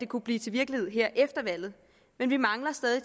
kunne blive til virkelighed her efter valget men vi mangler stadig